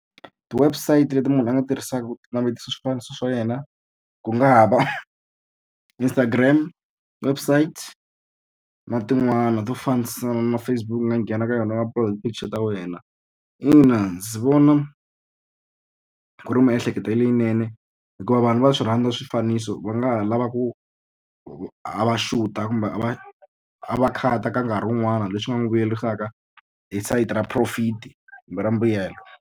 Ti-website leti munhu a nga ti tirhisaka ku navetisa swifaniso swa yena ku nga ha va Instagram, website, na tin'wana to fambisana na Facebook u nga nghena ka yona picture ta wena. Ina ndzi vona ku ri miehleketo leyinene, hikuva vanhu va swi rhandza swifaniso va nga ha lava ku ku a va shoot-a kumbe a va a va cut-a ka nkarhi wun'wana leswi nga n'wi vuyerisaka hi sayiti ra profit-i kumbe ra mbuyelo.